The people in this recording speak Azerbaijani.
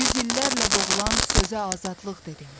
yüz illərlə boğulan sözə azadlıq dedim.